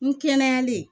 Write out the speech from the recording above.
N kɛnɛyali